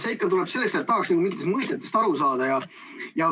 See ikka tuleb sellest, et tahaks mingitest mõistetest aru saada.